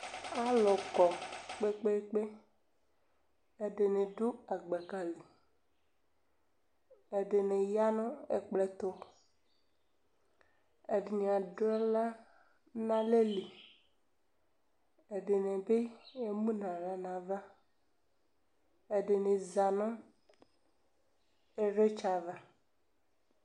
Alʋ kɔ kpekpeekpe Ɛdini dʋ agbaka li, ɛdini ya nʋ ɛkplɔ ɛtʋ, ɛdini adʋ aɣla nʋ alɛli, ɛdini bi emu nʋ aɣla n'ava Ɛdini za nʋ ivlitsɛ ava